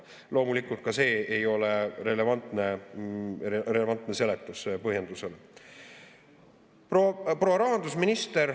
Loomulikult ei ole ka see relevantne seletus, põhjendus.